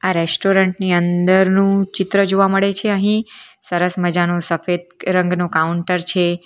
Restaurant ની અંદર નું ચિત્ર જોવા મળે છે અહીં સરસ મજાનું સફેદ રંગનું કાઉન્ટર છે.